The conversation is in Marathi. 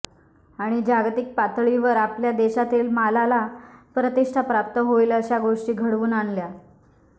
आणि जागतिक पातळीवर आपल्या देशातील मालाला प्रतिष्ठा प्राप्त होईल अशा गोष्टी घडवून आणल्या